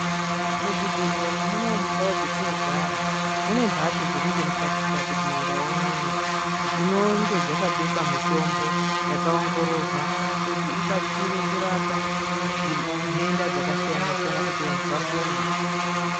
Muzvibhehlera munomu mundau dzetinogara munemhatso dziringemukati kati kumandau unono dzinonge dzakabekwa mutombo yakaongororwa kuti ibatsire kurapa nhenda dzakasiyanasiyana kuti vanhu vapone.